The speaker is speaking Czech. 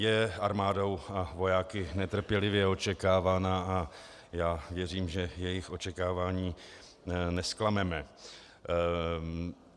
Je armádou a vojáky netrpělivě očekávána a já věřím, že jejich očekávání nezklameme.